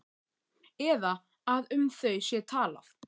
Eða að um þau sé talað?